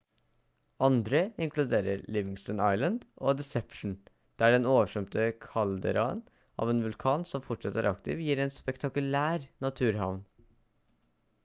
andre inkluderer livingston island og deception der den oversvømte kalderaen av en vulkan som fortsatt er aktiv gir en spektakulær naturhavn